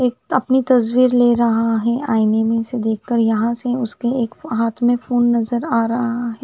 एक अपनी तस्वीर ले रहा है आईने में से देख कर यहाँ से उसके एक हाथ में फ़ोन नज़र आरहा है।